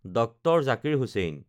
DR. Zakir Hussain